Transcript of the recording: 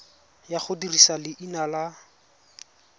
ya go dirisa leina la